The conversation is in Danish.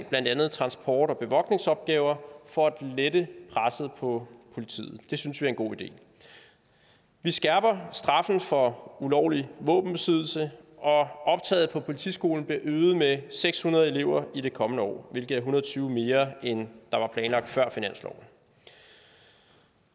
blandt andet transport og bevogtningsopgaver for at lette presset på politiet det synes vi er en god idé vi skærper straffen for ulovlig våbenbesiddelse og optaget på politiskolen bliver øget med seks hundrede elever i det kommende år hvilket hundrede og tyve mere end der var planlagt før finansloven